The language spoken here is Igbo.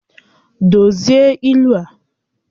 Dozie ilu a!